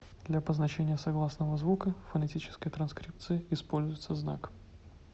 для обозначения согласного звука в фонетической транскрипции используется знак